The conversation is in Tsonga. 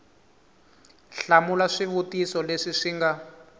hlamula swivutiso leswi swi nga